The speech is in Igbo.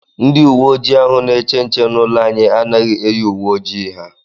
Ndị uwe ojii ahụ na-eche nche n'ụlọ anyị anaghị eyi uwe ojii ha.